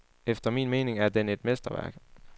Efter min mening er den et mesterværk.